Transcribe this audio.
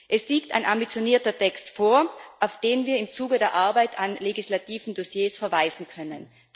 Es liegt ein ambitionierter Text vor, auf den wir im Zuge der Arbeit an legislativen Dossiers verweisen können.